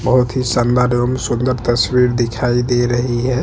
बहुत ही शानदार एवं सुंदर तस्वीर दिखाई दे रहे है।